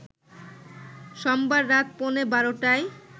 সোমবার রাত পৌনে ১২টায়